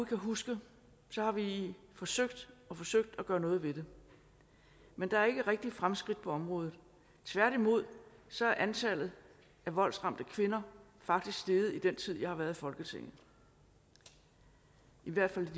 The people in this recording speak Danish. kan huske har vi forsøgt og forsøgt at gøre noget ved det men der er ikke rigtig sket fremskridt på området tværtimod så er antallet af voldsramte kvinder faktisk steget i den tid jeg har været i folketinget i hvert fald